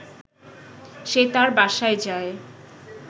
সে তার বাসায় যায়